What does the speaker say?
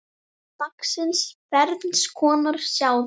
Orð dagsins Ferns konar sáðjörð